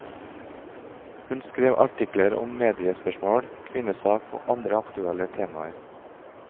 Hun skrev artikler om mediespørsmål, kvinnesak og andre aktuelle temaer.